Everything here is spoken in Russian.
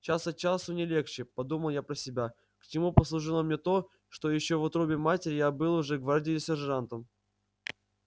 час от часу не легче подумал я про себя к чему послужило мне то что ещё в утробе матери я был уже гвардии сержантом